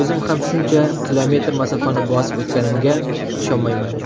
o‘zim ham shuncha kilometr masofani bosib o‘tganimga ishonmayman.